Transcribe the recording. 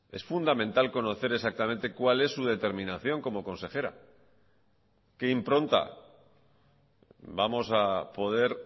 es fundamental conocer exactamente cuál es su determinación como consejera qué impronta vamos a poder